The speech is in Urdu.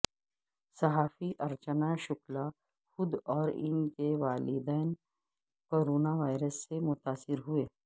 صحافی ارچنا شکلا خود اور ان کے والدین کورونا وائرس سے متاثر ہوئے